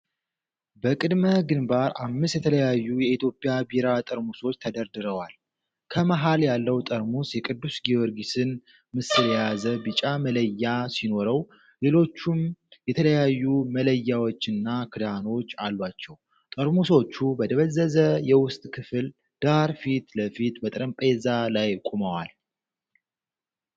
በቅድመ-ግንባር አምስት የተለያዩ የኢትዮጵያ ቢራ ጠርሙሶች ተደርድረዋል። ከመሃል ያለው ጠርሙስ የቅዱስ ጊዮርጊስን ምስል የያዘ ቢጫ መለያ ሲኖረው፣ ሌሎቹም የተለያዩ መለያዎችና ክዳኖች አሏቸው። ጠርሙሶቹ በደበዘዘ የውስጥ ክፍል ዳራ ፊት ለፊት በጠረጴዛ ላይ ቆመዋል።